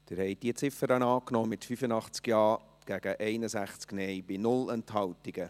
Sie haben diese Ziffer angenommen, mit 85 Ja- zu 61 Nein-Stimmen bei 0 Enthaltungen.